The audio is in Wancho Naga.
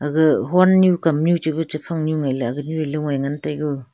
aga hon nu kamnui chibui chaphang ngui agan ley ngan tego.